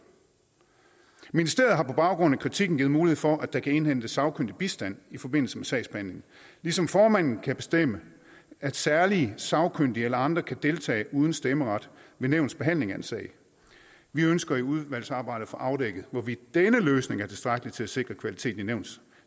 ministeriet har på baggrund af kritikken givet mulighed for at der kan indhentes sagkyndig bistand i forbindelse med sagsbehandlingen ligesom formanden kan bestemme at særlige sagkyndige eller andre kan deltage uden stemmeret ved nævnets behandling af en sag vi ønsker i udvalgsarbejdet at få afdækket hvorvidt denne løsning er tilstrækkelig til at sikre kvaliteten i nævnets